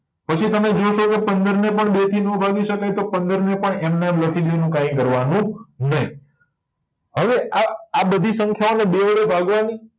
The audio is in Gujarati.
પછી તમે જુઓ છો તો પંદર ને પણ બે થી નો ભાગી શકાય તો પંદર ને પણ એમ નાં એમ લખી દેવા ના એનું કઈ કરવા નું નહી હવે આ બધી સંખ્યા ઓ ને બે વડે ભાગવા ની